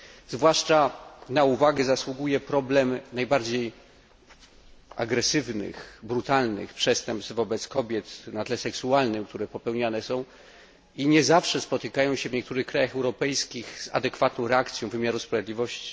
Zwłaszcza na uwagę zasługuje problem najbardziej agresywnych, brutalnych przestępstw wobec kobiet na tle seksualnym, które są popełniane i nie zawsze spotykają się w niektórych krajach europejskich z adekwatną reakcją wymiaru sprawiedliwości.